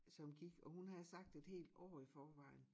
Som gik og hun havde sagt et helt år i forvejen